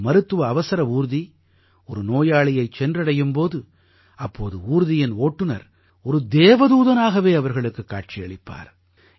ஒரு மருத்துவ அவசர ஊர்தி ஒரு நோயாளியைச் சென்றடையும் போது அப்போது ஊர்தியின் ஓட்டுனர் ஒரு தேவதூதனாகவே அவர்களுக்குக் காட்சியளிப்பார்